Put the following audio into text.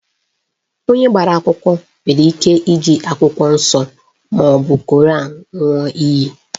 Onye agbara akwụkwọ nwere ike iji akwụkwọ nsọ maọbụ Koran ṅụọ iyi